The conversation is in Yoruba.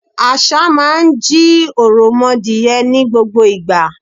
Àṣà máa ń jí òròmọadìẹ ní gbogbo ìgbà.